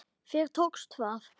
Þér tókst það!